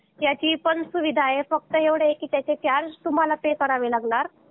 त्याची पण सुविधा आहे फक्त एवढे आहे कि त्याचे चार्ज पे तुम्हाला पे करावे लागणार